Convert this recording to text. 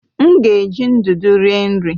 M ga-eji ndụdụ rie nri.